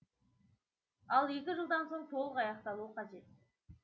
ал екі жылдан соң толық аяқталуы қажет